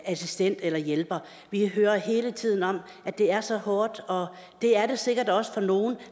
assistent eller hjælper vi hører hele tiden om at det er så hårdt og det er det sikkert også for nogle